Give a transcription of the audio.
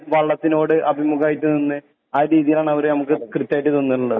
വള്ളത്തിനോട് അഭിമുഖമായിട്ട് നിന്ന് ആ രീതീലാണ് അവര് നമക്ക് കൃത്യായിട്ട് തന്നിട്ട്ള്ളത്